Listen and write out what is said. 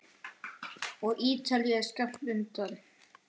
Og Ítalía er skammt undan.